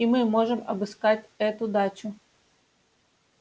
и мы можем обыскать эту дачу